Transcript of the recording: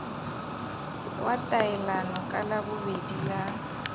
wa taelano ka labobedi la